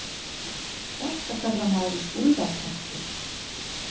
Þetta kallar maður víst úlfakreppu.